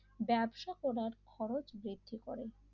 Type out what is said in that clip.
ব্যবসা করার খরচ বৃদ্ধি করে।